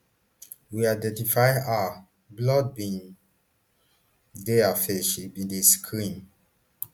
we identify her blood bin dey her face she bin dey scream